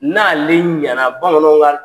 N'ale ɲɛna bamananw ka